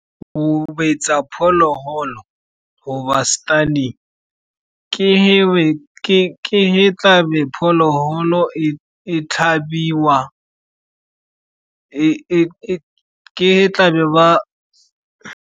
Go betsa diphologolo goba stunning ke tla be phologolo e tlhabiwa ke tla be ba.